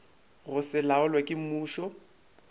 go se laolwe ke mmušo